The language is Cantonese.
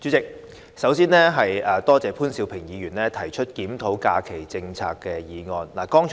代理主席，首先，多謝潘兆平議員提出"檢討假期政策"議案。